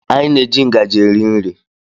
Anyị na-eji ngaji rie nri.